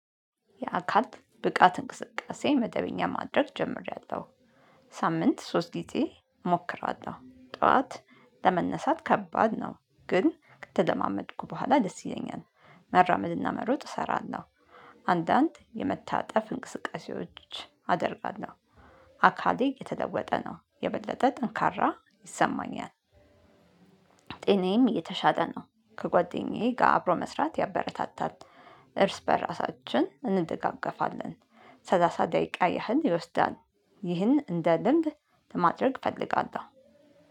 የአካል ብቃት እንቅስቃሴ መደበኛ ማድረግ ጀምሬያለሁ። ሳምንት ሶስት ጊዜ እሞክራለሁ ጠዋት ለመነሳት ከባድ ነው። ግን ከተለማመድኩ በኋላ ደስ ይለኛል። መራመድና መሮጥ እሰራለሁ። አንዳንድ የመታጠፍ እንቅስቃሴዎች አደርጋለሁ። አካሌ እየተለወጠ ነው የበለጠ ጠንካራ ይሰማኛል። ጤናዬም እየተሻለ ነው። ከጓደኛዬ ጋር አብሮ መስራት ያበረታታል። እርስ በእራሳችን ሰላሳ ደቂቃ ያህል ይወስዳል። ይህን እንደ ልምድ ለማድረግ እፈልጋለሁ።